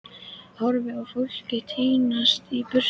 Ég horfi á fólkið tínast í burtu.